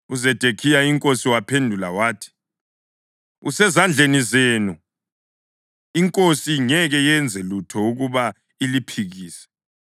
UZedekhiya inkosi waphendula wathi, “Usezandleni zenu. Inkosi ingeke yenze lutho ukuba iliphikise.”